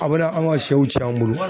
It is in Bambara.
A bɛna an ka siyɛw cɛn an bolo.